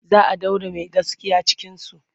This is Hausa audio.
Za a ɗaure mai gaskiyar cikinsu.